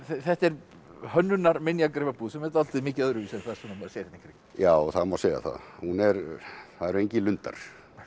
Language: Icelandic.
þetta er hönnunar minjagripabúð sem er dálítið mikið öðruvísi en þær sem maður sér hérna í kring já það má segja það það eru engir lundar